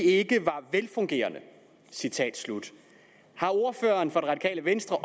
ikke var velfungerende har ordføreren fra det radikale venstre